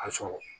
A sɔrɔ